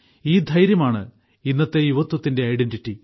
ഈ ധൈര്യമാണ് ഇന്നത്തെ യുവത്വത്തിന്റെ ഐഡന്റിറ്റി